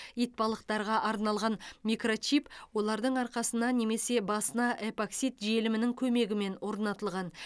итбалықтарға арналған микрочип олардың арқасына немесе басына эпоксид желімінің көмегімен орнатылған